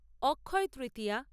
Akshaya Tritiya